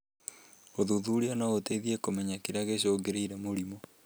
Ũthuthuria no ũteithie kũmenya kĩrĩa gĩcũngirĩĩe mũrimũ